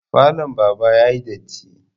Falon baba yayi datti